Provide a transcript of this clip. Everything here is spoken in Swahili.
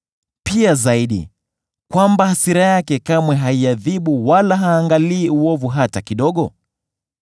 pia zaidi, kwamba hasira yake kamwe haiadhibu wala haangalii uovu hata kidogo?